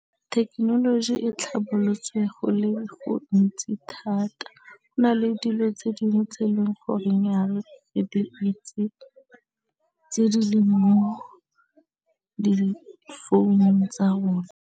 Thekenoloji e tlhabolotswe go le gontsi thata, go na le dilo tse dingwe tse e leng goreng ga re di itse di leng mo di founung tsa rona.